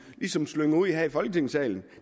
slynger ud her i folketingssalen